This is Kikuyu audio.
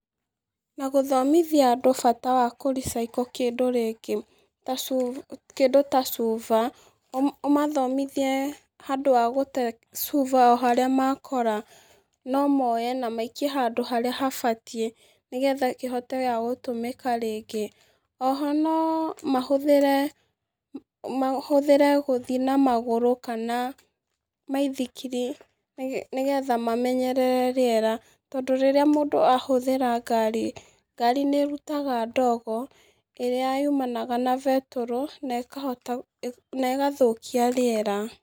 Na gũthomithia andũ bata wa gũ recycle kĩndũ ta gĩkĩ, ta cu kĩndũ ta cuba, ũmathomithie handũ ha gũte cuba o harĩa makora, nomoe na maikie handũ harĩa habatií, nĩgetha kĩhote o gũtũmĩka rĩngĩ, oho no, mahũthĩre, mahũthĩre gũthi na magũrũ kana mĩithikiri, nĩ nĩgetha mamenyerere rĩera, tondũ rĩrĩa mũndũ ahũthĩra ngari, ngari nĩrutaga ndogo ĩrĩa yumanaga na betũrũ, nekahota ne, negathũkia rĩera.